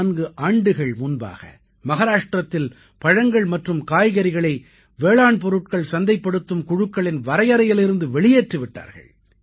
34 ஆண்டுகள் முன்பாக மஹாராஷ்டிரத்தில் பழங்கள் மற்றும் காய்கறிகளை வேளாண் பொருள்கள் சந்தைப்படுத்தும் குழுக்களின் வரையறையிலிருந்து வெளியேற்றி விட்டார்கள்